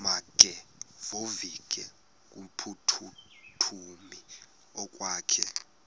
makevovike kumphuthumi okokwakhe